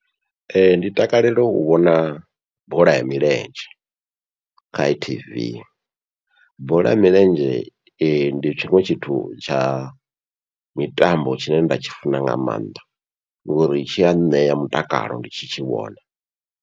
Ee ndi takalela u vhona bola ya milenzhe kha t_v, bola ya milenzhe ndi tshiṅwe tshithu tsha mitambo tshine nda tshi funa nga maanḓa ngori tshi a ṋea mutakalo ndi tshi tshi vhona.